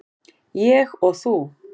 Ég og þú.